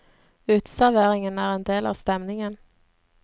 Uteserveringen er en del av stemningen.